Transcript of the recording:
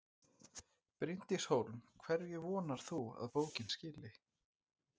Bryndís Hólm: Hverju vonar þú að bókin skili?